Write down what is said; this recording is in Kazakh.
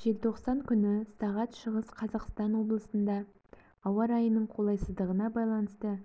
желтоқсан күні сағат шығыс қазақстан облысында ауа райының қолайсыздығына байланысты